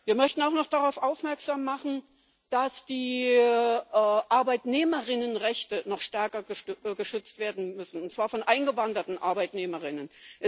Wir möchten auch noch darauf aufmerksam machen, dass die Arbeitnehmerinnenrechte noch stärker geschützt werden müssen, und zwar die Rechte von eingewanderten Arbeitnehmerinnen.